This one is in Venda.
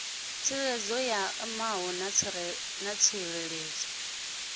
tsireledzo ya ṋama na tsireledzo